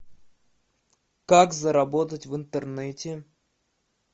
как заработать в интернете